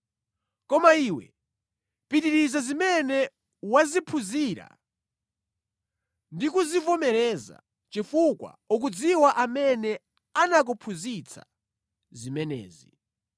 Koma iwe pitiriza zimene waziphunzira ndi kuzivomereza, chifukwa ukudziwa amene anakuphunzitsa zimenezi.